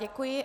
Děkuji.